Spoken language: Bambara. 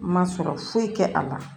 Ma sɔrɔ foyi tɛ a la